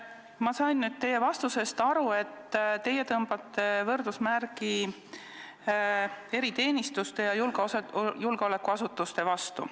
Ma sain teie vastusest aru, et te tõmbate võrdusmärgi eriteenistuste ja julgeolekuasutuste vahele.